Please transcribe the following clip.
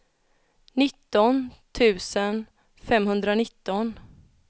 nitton tusen femhundranitton